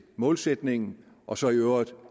målsætningen og så i øvrigt